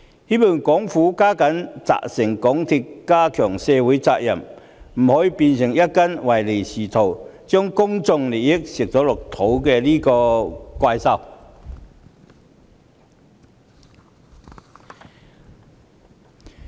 希望政府加緊責成港鐵公司加強對社會的責任，不可以讓它變成一隻唯利是圖，將公眾利益吃下肚的怪獸。